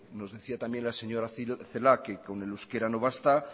nos decía también la señora celaá que con el euskera no basta